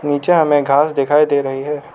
नीचे हमें घास दिखाई दे रही है।